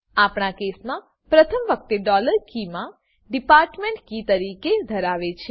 આપણા કેસ મા પ્રથમ વખતે ડોલર કીમા કે ડિપાર્ટમેન્ટ કી તરીકે ધરાવે છે